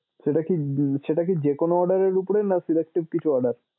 সেটা কি সেটা কি যেকোনো order এর উপরে না selected কিছু order?